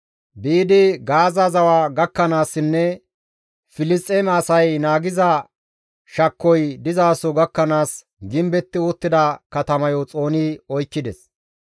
Biidi Gaaza zawa gakkanaassinne Filisxeeme asay naagiza shakkoy dizaso gakkanaas gimbetti uttida katamayo xooni oykkides.